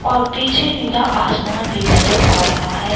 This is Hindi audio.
और पीछे नीला आसमान भी नजर आ रहा है।